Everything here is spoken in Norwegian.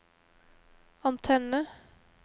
antenne